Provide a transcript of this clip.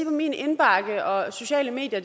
min indbakke og sociale medier